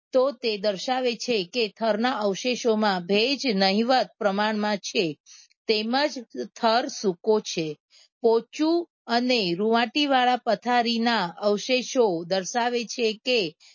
તો તે દર્શાવે છે કે થરના અવશેષોમાં ભેજ નહીવત પ્રમાણમાં છે તેમ જ થર સુકો છે. પોચું અને રુવાટી વાળા પથારીના અવશેષો દર્શાવે છે કે